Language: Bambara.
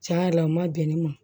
Tiɲɛ yɛrɛ la o ma bɛn ne ma